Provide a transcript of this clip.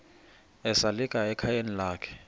esalika ekhayeni lakhe